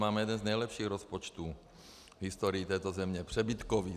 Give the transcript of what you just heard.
Máme jeden z nejlepších rozpočtů v historii této země - přebytkový.